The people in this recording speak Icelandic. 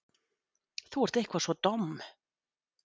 Þú ert eitthvað svo domm.